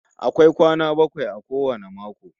Akwai kwana bakwai a kowane mako